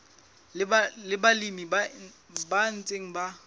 le balemi ba ntseng ba